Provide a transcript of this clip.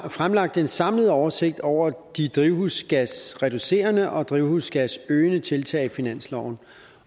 fremlagt en samlet oversigt over de drivhusgasreducerende og drivhusgasøgende tiltag i finansloven